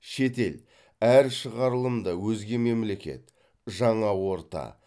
шетел әр шығарылымда өзге мемлекет жаңа орта